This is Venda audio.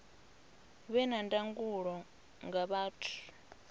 vhe na ndangulo nga vhathu